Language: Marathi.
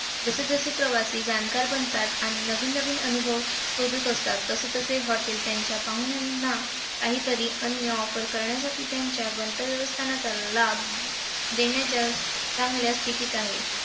जसे जसे प्रवासी जाणकार बनतात, आणि नवीन नवीन अनुभव शोधत असतात, तसे तसे hotel त्यांच्या पाहुण्यांना काहीतरी अनन्य offer करण्यासाठी, त्यांच्या गंतव्यस्थानाच्या लाभ देण्याच्या चांगल्या स्थितीत आहे.